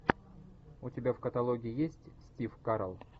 у тебя в каталоге есть стив карелл